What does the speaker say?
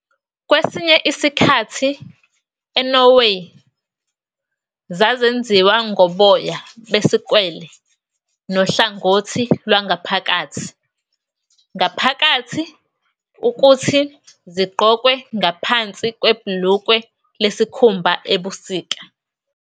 Kwesinye isikhathi eNorway zazenziwa ngoboya besikwele nohlangothi lwangaphakathi ngaphakathi, ukuthi zigqokwe ngaphansi kwebhulukwe lesikhumba ebusika.